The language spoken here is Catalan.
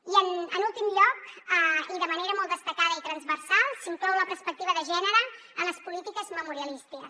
i en últim lloc i de manera molt destacada i transversal s’inclou la perspectiva de gènere en les polítiques memorialistes